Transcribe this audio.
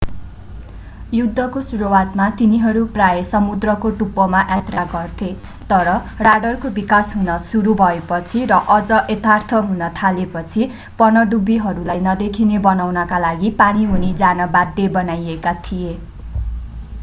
युद्धको सुरुवातमा तिनीहरू प्राय समुद्रको टुप्पोमा यात्रा गर्थे तर राडरको विकास हुन सुरु भएपछि र अझ यथार्थ हुन थालेपछि पनडुब्बीहरूलाई नदेखिने बनाउनका लागि पानी मुनि जान बाध्य बनाइएका थिए